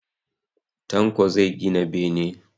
Tanko zai gina bene